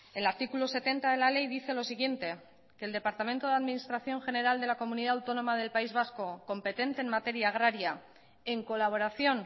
el artículo setenta de la ley dice lo siguiente el departamento de administración general de la comunidad autónoma del país vasco competente en materia agraria en colaboración